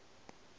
o be a duma go